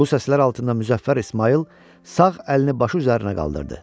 Bu səslər altında Müzəffər İsmayıl sağ əlini başı üzərinə qaldırdı.